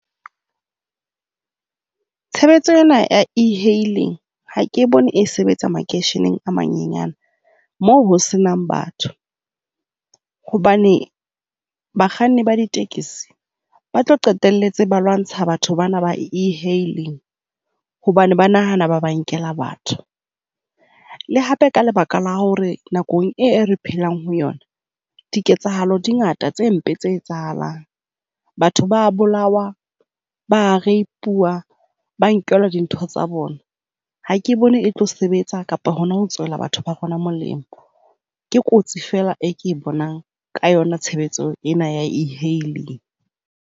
Tshebetso ena e-hailing ha ke bone e sebetsa makeisheneng a manyenyane moo ho se nang batho hobane bakganni ba ditekesi ba tlo qetelletse ba lwantsha batho bana ba e-hailing hobane ba nahana ba ba nkela batho. Le hape ka lebaka la hore nakong eo re phelang ho yona diketsahalo di ngata tse mpe tse etsahalang. Batho ba a bolawa. Ba a rape-wa. Ba nkelwa dintho tsa bona. Ha ke bone e tlo sebetsa kapa hona ho tswella batho ba rona molemo. Ke kotsi feela eo ke e bonang ka yona tshebetso ena ya e-hailing.